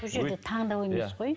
бұл жерде таңдау емес қой